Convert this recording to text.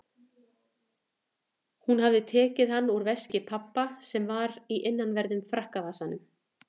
Hún hafði tekið hann úr veski pabba sem var í innanverðum frakkavasanum.